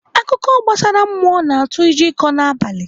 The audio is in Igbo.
Akụkọ gbasara mmụọ na-atụ ụjọ ịkọ n'abalị.